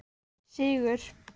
Sigur